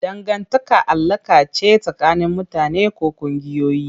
Dangantaka alaƙa ce tsakanin mutane ko ƙungiyoyi.